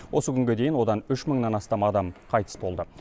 осы күнге дейін одан үш мыңнан астам адам қайтыс болды